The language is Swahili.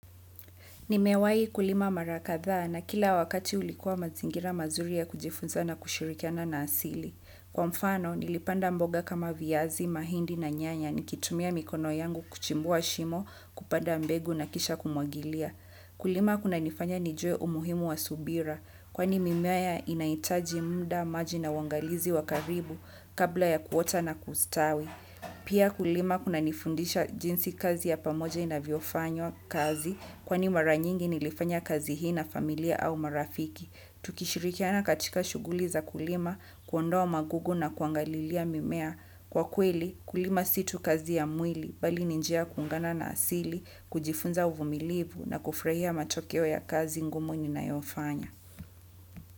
Nimewahi kulima mara kadha na kila wakati ulikuwa mazingira mazuri ya kujifunza na kushrikiana na asili kwa mfano nilipanda mboga kama viazi, mahindi na nyanya nikitumia mikono yangu kuchimbua shimo kupanda mbegu kisha kumwagilia. Kulima kuna nifanya nijue umuhimu wa subira, kwani mimea inahitaji muda, maji na uangalizi wa karibu kabla ya kuota na kustawi. Pia kulima kunanifundisha jinsi kazi ya pamoja inavyofanywa kazi kwani mara nyingi nilifanya kazi hii na familia au marafiki. Tukishirikiana katika shughuli za kulima kuondoa magugu na kuangalilia mimea. Kwa kulima si tu kazi ya mwili bali ni njia ya kuungana na asili kujifunza uvumilivu na kufurahia matokeo ya kazi ngumu ninayo fanya.